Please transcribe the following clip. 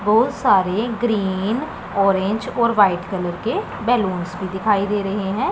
बहोत सारे green orange और वाइट कलर के बैलूंस भी दिखाई दे रहे है।